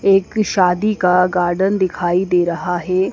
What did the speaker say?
एक शादी का गार्डन दिखाई दे रहा है।